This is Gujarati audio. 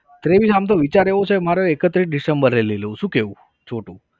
વિચાર એવો છે મારે એકત્રીસ december એ લઇ લઉં શું કેવું છોટુ?